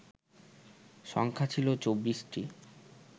সংখ্যা ছিল ২৪টি